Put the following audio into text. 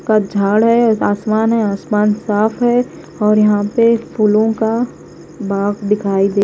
का झाड़ है आसमान है आसमान साफ है और यहां पे फूलों का बाग दिखाई दे--